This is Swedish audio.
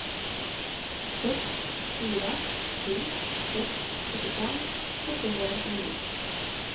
sex fyra sju sex sjuttiofem åttahundranittionio